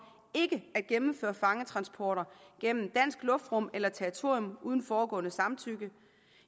ikke at gennemføre fangetransporter gennem dansk luftrum eller territorium uden forudgående samtykke